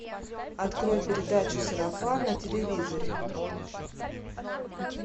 открой передачу сарафан на телевизоре